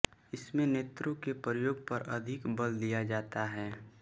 इसमें नेत्रों के प्रयोग पर अधिक बल दिया जाता है